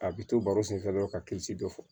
A bɛ to baro senfɛ dɔrɔn ka kilisi dɔ fɔ